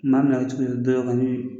N'a minɛ